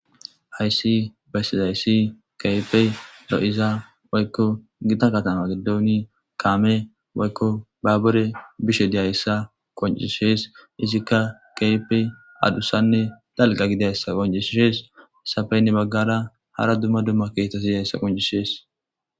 Hayssi bessizayssi kaype ro'iza waykko gita katama giddooni kaame waykko baabure bishe diyayessa qoncishees isikka kayipe adusanne dalqa gidayssa qoncisshees safeynne maggara hara dumma dumma keetas idiyhayssa qoncisees.